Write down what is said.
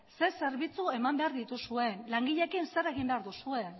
ze zerbitzu eman behar dituzuen langileekin zer egin behar duzuen